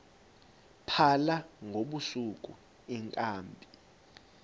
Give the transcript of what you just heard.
phala ngobusuku iinkabi